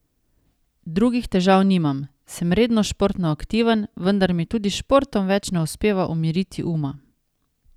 Drugih težav nimam, sem redno športno aktiven, vendar mi tudi s športom več ne uspeva umiriti uma.